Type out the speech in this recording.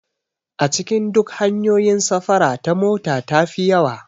A cikin duk hanyoyin safara ta mota tafi yawa